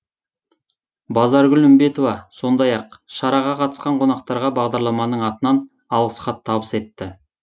базаргүл үмбетова сондай ақ шараға қатысқан қонақтарға бағдарламаның атынан алғыс хат табыс етті